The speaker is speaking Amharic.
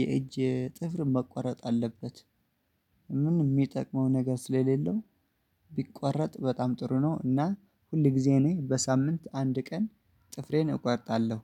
የእጅ ጥፍር መቆረጥ አለበት። ምን የሚጠቅመው ነገር ስለሌለው ቢቆረጥ በጣም ጥሩ ነው። እና ሁል ጊዜ እኔ በሳምንት አንድ ቀን ጥፍሬን እቆርጣለሁ።